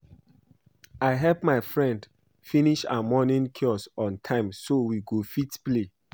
I help my friend finish her morning chores on time so we go fit play